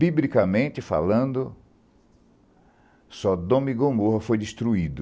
Bíblicamente falando, Sodoma e Gomorra foi destruído.